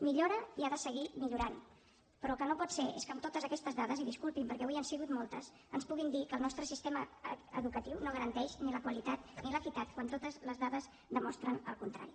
millora i ha de seguir millorant però el que no pot ser és que amb totes aquestes dades i disculpi’m perquè avui han sigut moltes ens puguin dir que el nostre sistema educatiu no garanteix ni la qualitat ni l’equitat quan totes les dades demostren el contrari